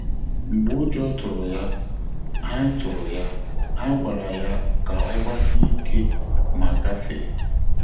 Mgbè ụ́jọ́ tụ́rụ̀ yá, há tụ́rụ̀ yá, há gwàrà yá kà ọ́ gbàsíé íké mà gàfèé.